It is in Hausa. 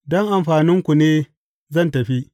Don amfaninku ne zan tafi.